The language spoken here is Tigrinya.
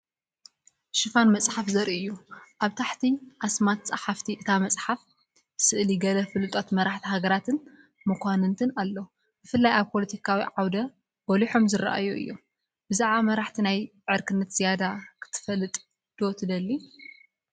ሽፋን መጽሓፍ ዘርኢ እዩ። ኣብ ታሕቲ ኣስማት ጸሓፍቲ እታ መጽሓፍን ስእሊ ገለ ፍሉጣት መራሕቲ ሃገራትን መኳንንትን ኣሎ። ብፍላይ ኣብ ፖለቲካዊ ዓውዲ ጎሊሖም ዝረኣዩ እዮም። ብዛዕባ መራሕቲ ናይቲ ዕርክነት ዝያዳ ክትፈልጥ ዶ ትደሊ?